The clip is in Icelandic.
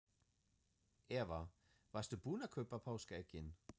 Eva: Varstu búin að kaupa páskaeggin?